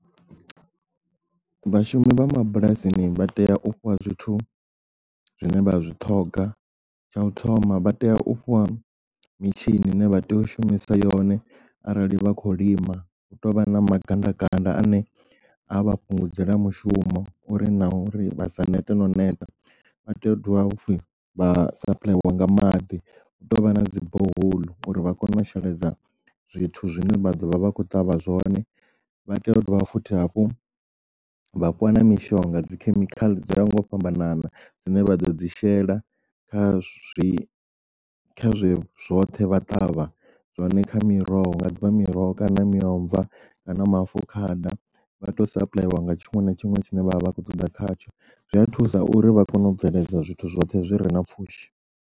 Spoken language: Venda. Vhashumi vha mabulasini vha tea u fhiwa zwithu zwine vha zwi ṱhoga, tsha u thoma vha tea u fhiwa mitshini ine vha tea u shumisa yone arali vha khou lima hu tou vha na magandakanda ane a vha fhungudzela mushumo uri na uri vha sa neta no neta. Vha tea u dovha futhi vha sapulaeliwa nga maḓi hu tou vha na dzi borehole uri vha kone u sheledza zwithu zwine vha ḓovha vha kho ṱavha zwone vha tea u dovha futhi hafhu vha fhiwa na mishonga dzikhemikhala dzo ya nga u fhambanana dzine vha ḓo dzi shela kha zwi zwe zwoṱhe vha ṱavha zwone kha miroho ḓivha miroho kana miomva kana maafukhada vha to sa apply ḽiwa nga tshiṅwe na tshiṅwe tshine vhavha vha khou ṱoḓa khatsho zwi a thusa uri vha kone u bveledza zwithu zwoṱhe zwi re na pfhushi.